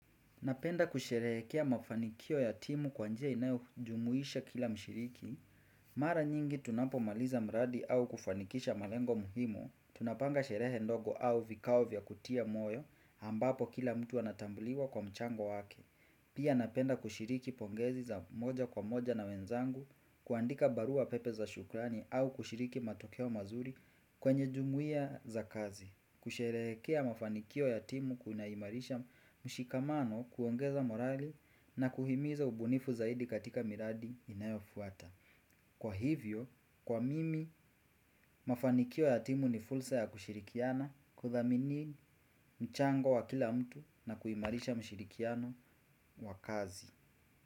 Napenda kusherehekea mafanikio ya timu kwa njia inayo jumuisha kila mshiriki. Mara nyingi tunapo maliza mradi au kufanikisha malengo muhimu, tunapanga sherehe ndogo au vikao vya kutia moyo ambapo kila mtu anatambuliwa kwa mchango wake. Pia napenda kushiriki pongezi za moja kwa moja na wenzangu, kuandika barua pepe za shukrani au kushiriki matokeo mazuri kwenye jumuia za kazi. Kusherehekea mafanikio ya timu kuinaimarisha mshikamano kuongeza morale na kuhimiza ubunifu zaidi katika miradi inayofuata. Kwa hivyo, kwa mimi, mafanikio ya timu ni fursa ya kushirikiana kudhamini mchango wa kila mtu na kuimarisha mshirikiano wa kazi.